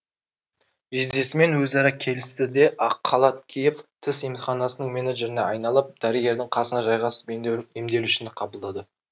жездесімен өзара келісті де ақ қалат киіп тіс емханасының менеджеріне айналып дәрігердің қасына жайғасып емделушіні қабылдады